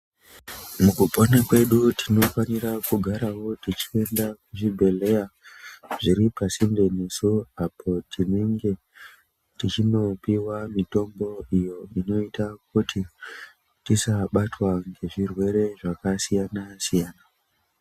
Mukupona kwedu tinofanirawo kugara Tichienda kuzvibhedhlera zviri pasinde tinenge tuchindopihwa mitombo iyo inoita kuti tisabatwa nezvirwere zvakasiyana siyana.